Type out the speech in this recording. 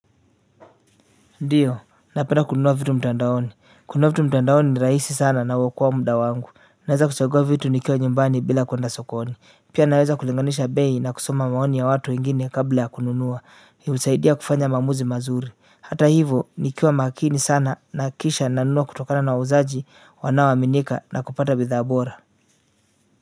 Ndiyo, napenda kununua vitu mtandaoni. Kunua vitu mtandaoni ni raisi sana na huokoa muda wangu. Naweza kuchagua vitu nikiwa nyumbani bila kuenda sokoni. Pia naweza kulinganisha bei na kusoma maoni ya watu wengine kabla ya kununua. Hunisaidia kufanya maamuzi mazuri. Hata hivo, nikiwa makini sana nahakikisha nanunua kutokana na wauzaji wanaoaminika na kupata bidha abora.